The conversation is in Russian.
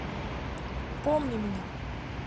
помни меня